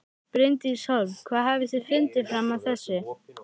Bryndís Hólm: Hvað hafið þið fundið fram að þessu?